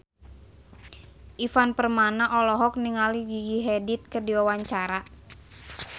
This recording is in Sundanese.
Ivan Permana olohok ningali Gigi Hadid keur diwawancara